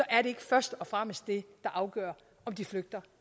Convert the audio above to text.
er ikke først og fremmest det der afgør om de flygter